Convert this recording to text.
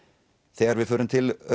þegar við förum til